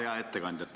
Hea ettekandja!